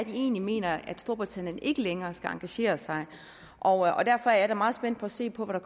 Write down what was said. de egentlig mener at storbritannien ikke længere skal engagere sig og derfor er jeg da meget spændt på at se på hvad